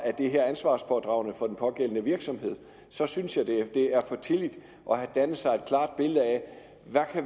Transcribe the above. det her er ansvarspådragende for den pågældende virksomhed så synes jeg det er for tidligt at danne sig et klart billede af hvad